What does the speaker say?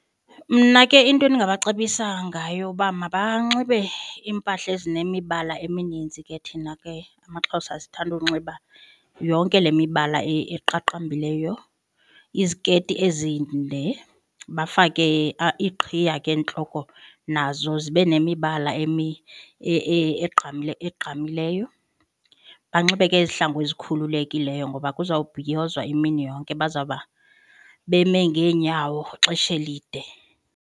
Mna ke into endingabacebisa ngayo uba mabanxibe iimpahla ezinemibala eminintsi ke thina ke amaXhosa esithanda uwunxiba yonke le mibala eqaqambileyo. Iziketi ezinde bafake iqhiya ke entloko nazo zibe nemibala egqamileyo. Banxibe ke izihlangu ezikhululekileyo ngoba kuzawubhiyozwa imini yonke, bazawuba beme ngeenyawo ixesha elide.